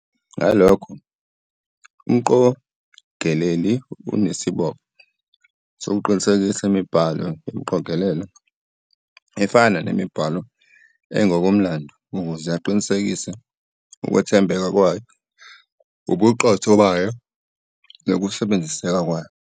Ngalokho, umqogeleli unesibopho sokuqinisekisa imibhalo yomqogelelo, efana nemibhalo engokomlando, ukuze aqinisekise ukwethembeka kwayo, ubuqotho bayo, nokusebenziseka kwayo.